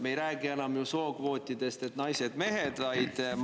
Me ei räägi ju sookvootide puhul enam sellest, et on naised ja mehed.